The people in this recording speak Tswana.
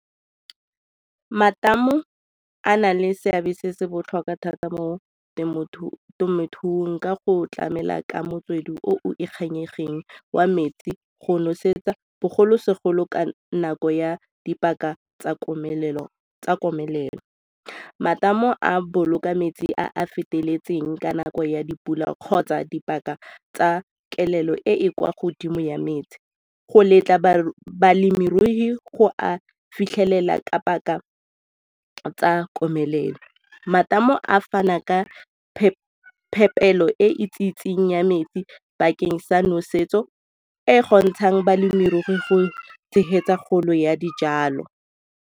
Matamo a na le seabe se se botlhokwa thata mo temothuong ka go tlamela ka motswedi o o ikanyegeng wa metsi go nosetsa bogolosegolo ka nako ya dipaka tsa komelelo. Matamo a boloka metsi a a feteletseng ka nako ya dipula kgotsa dipaka tsa kelelo e e kwa godimo ya metsi go letla balemirui go a fitlhelela ka paka tsa komelelo, matamo a fana ka phepelo e itsisetsweng ya metsi bakeng sa nosetso e e kgontshang balemirui go tshegetsa kgolo ya dijalo.